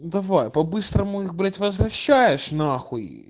давай по-быстрому их блять возвращаешь нахуй